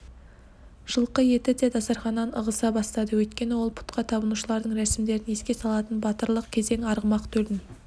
жылқы етіде дастарханнан ығыса бастады өйткені ол пұтқа табынушылардың рәсімдерін еске салатын батырлық кезең арғымақ төлін